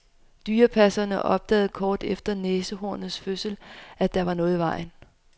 Dyrepasserne opdagede kort efter næsehornets fødsel, at der var noget i vejen.